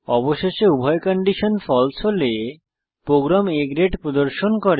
অবশেষে উভয় condition false হলে প্রোগ্রাম A গ্রেড প্রদর্শন করে